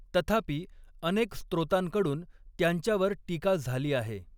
तथापि, अनेक स्त्रोतांकडून त्यांच्यावर टीका झाली आहे.